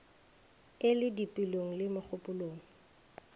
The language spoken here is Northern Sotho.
e le dipelong le megopolong